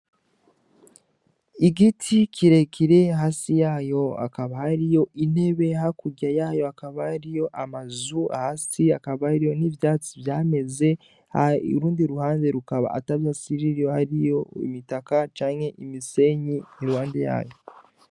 Igiti kirekire hasi yayo hakaba hariyo intebe hakurya yayo hakaba hariyo amazu hasi hakaba hariyo n'ivyatsi vyameze urundi ruhande rukaba ata vyatsi hariyo imitaka canke imisenyi iruhande yayo.